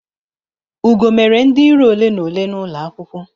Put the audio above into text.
Ugo mere ndi iro ole na ole n'ulo akwukwo